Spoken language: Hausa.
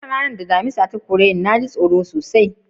Na tuna ranan da Damisa ya kore ni. Na ji tsoro sosai.